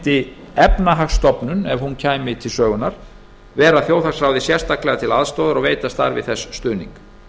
efnahagsstofnun ef hún kæmi til sögunnar vera þjóðhagsráði sérstaklega til aðstoðar og veita starfi þess stuðning